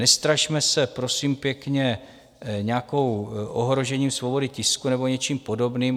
Nestrašme se, prosím pěkně, nějakým ohrožením svobody tisku nebo něčím podobným.